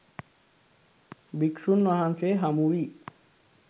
භික්ෂුන් වහන්සේ හමු වී